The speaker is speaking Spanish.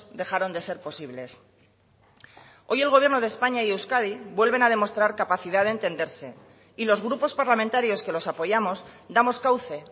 dejaron de ser posibles hoy el gobierno de españa y euskadi vuelven a demostrar capacidad de entenderse y los grupos parlamentarios que los apoyamos damos cauce